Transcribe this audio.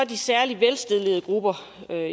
de særligt velstillede grupper